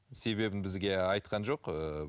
себебін бізге айтқан жоқ ыыы